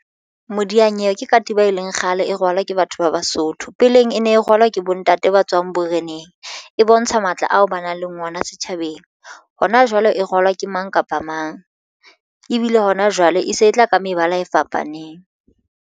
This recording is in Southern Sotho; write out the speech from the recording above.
Modiyanyewe ke katiba e leng kgale e rwalwa ke batho ba Basotho. Peleng e ne e rwalwa ke bontate ba tswang boreneng e bontsha matla ao ba nang le ona setjhabeng hona jwale e rwalwa ke mang kapa mang ebile hona jwale e se e tla ka mebala e fapaneng.